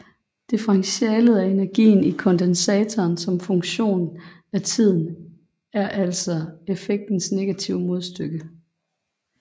Differentialet af energien i kondensatoren som funktion af tiden er altså effektens negative modstykke